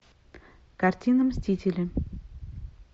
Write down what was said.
картина мстители